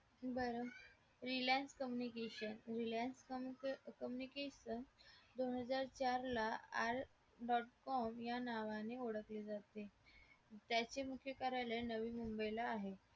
बरं reliance communication reliance communication दोन हजार चार ला आर dot com या नावाने ओळखले जाते त्याचे मुख्य कार्यालय नवीन मुंबईला आहे